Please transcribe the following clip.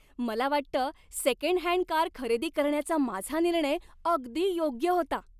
मला वाटतं second hand car खरेदी करण्याचा माझा निर्णय अगदी योग्य होता.